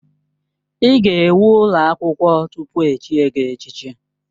Ị ga-ewu ụlọ akwụkwọ tupu echie gị echichi.